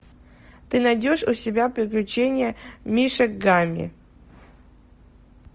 ты найдешь у себя приключения мишек гамми